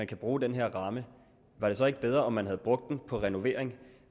kan bruge den her ramme var det så ikke bedre om man havde brugt den på renovering